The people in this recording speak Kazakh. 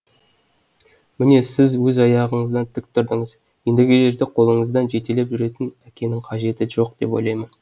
міне сіз өз аяғыңыздан тік тұрдыңыз ендігі жерде қолыңыздан жетелеп жүретін әкенің қажеті жоқ деп ойлаймын